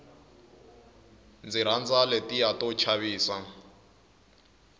ndzi rhandza letiya to chavisa